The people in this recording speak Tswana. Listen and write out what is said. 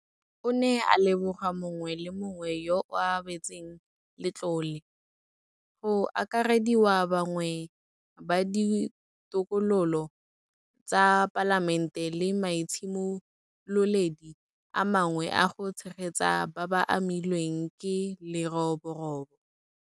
O ne a leboga mongwe le mongwe yo o abetseng letlole, go akarediwa bangwe ba Ditokololo tsa Palamente le maitshimololedi a mangwe a go tshegetsa ba ba amilweng ke leroborobo.